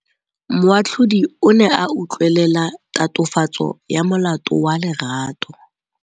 Moatlhodi o ne a utlwelela tatofatsô ya molato wa Lerato.